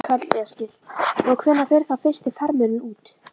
Karl Eskil: Og hvenær fer þá fyrsti farmurinn út?